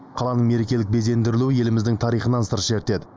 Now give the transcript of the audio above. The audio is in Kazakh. қаланың мерекелік безендірілуі еліміздің тарихынан сыр шертеді